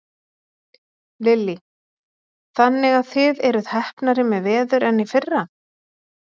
Lillý: Þannig að þið eruð heppnari með veður en í fyrra?